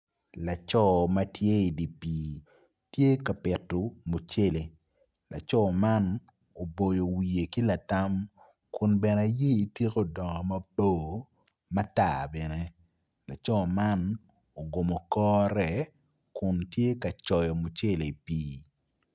Laco matye i di pi tye ka pito mucele laco man tye ka boyo wiye ki latam kun bene yer tike odongo mabo matar bene laco man ogomo kore kun tye kacoyo mucele i pi.